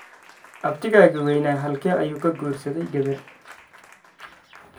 Abtigaga weynaa halkee ayu ka guursaday gabar?